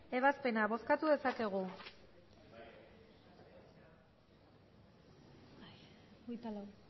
ebazpena bozkatu dezakegu emandako botoak